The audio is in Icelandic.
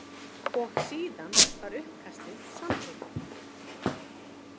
Og síðan var uppkastið samþykkt.